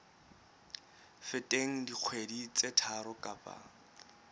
feteng dikgwedi tse tharo kapa